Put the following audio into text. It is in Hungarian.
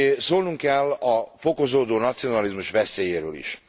szólnunk kell a fokozódó nacionalizmus veszélyéről is.